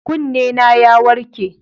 Kunnena ya warke.